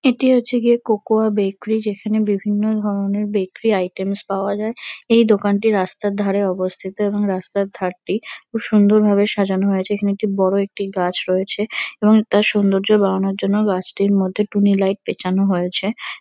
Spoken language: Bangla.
এটি হচ্ছে গিয়ে কোকো বেকরি যেখানে বিভিন্ন ধরণের বেকরি আইটেমস পাওয়া যায়। এই দোকানটি রাস্তার ধরে অবস্থিত এবং রাস্তার ধারটি খুব সুন্দরভাবে সাজানো হয়েছে। এখানে একটি বড়ো একটি গাছ রয়েছে এবং তার সুন্দর্য্য বাড়ানোর জন্য গাছটির মধ্যে টুনি লাইট পেঁচানো হয়েছে।